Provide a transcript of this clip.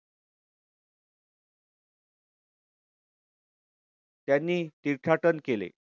त्यांनी तीर्थाटन केले.